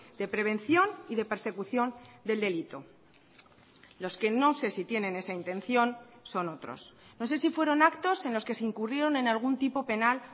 de prevención y de persecución del delito los que no sé si tienen esa intención son otros no sé si fueron actos en los que se incurrieron en algún tipo penal